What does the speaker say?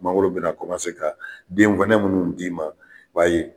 Mangoro bɛna ka den kɔnɛ minnu d'i ma i b'a ye.